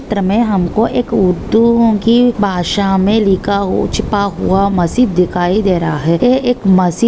इस चित्र मे हमको एक उर्दूओंकी भाषा मे लिखा हुआ छुपा हुआ मस्जिद दिखाई दे रहा हैं। ये एक मस्जिद--